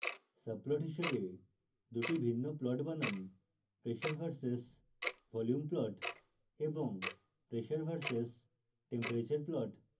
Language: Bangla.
subplots হিসাবে দুটি ভিন্ন plots বানান: